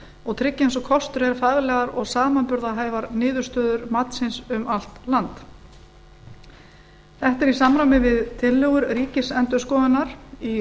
og tryggja eins og kostur er faglegar og samanburðarhæfar niðurstöður matsins um allt land þetta er í samræmi við tillögur ríkisendurskoðunar um